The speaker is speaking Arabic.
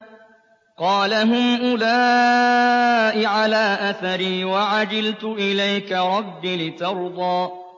قَالَ هُمْ أُولَاءِ عَلَىٰ أَثَرِي وَعَجِلْتُ إِلَيْكَ رَبِّ لِتَرْضَىٰ